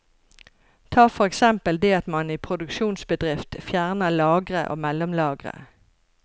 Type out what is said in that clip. Ta for eksempel det at man i produksjonsbedrifter fjerner lagre og mellomlagre.